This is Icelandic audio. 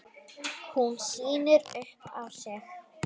Hún snýr upp á sig.